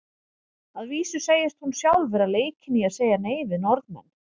Að vísu segist hún sjálf vera leikin í að segja nei við Norðmenn.